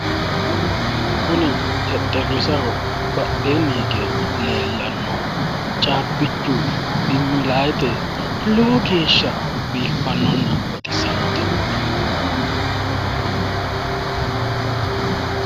Kuni xexxerrisaho badheenni hige leellannohu caabbichu diimilayiite lowo geeshsha biiffannonna baxissannote.